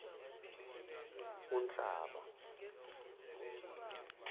unhlaba